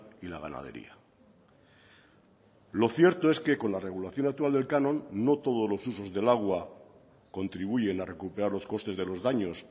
y la ganadería lo cierto es que con la regulación actual del canon no todos los usos del agua contribuyen a recuperar los costes de los daños